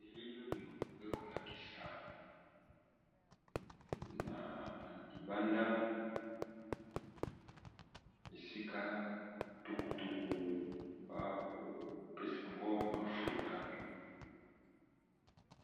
elili oyo ekolakisa na libanda esika tukutuku bakopesa ango mafuta